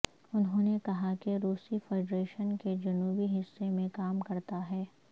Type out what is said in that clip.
انہوں نے کہا کہ روسی فیڈریشن کے جنوبی حصے میں کام کرتا ہے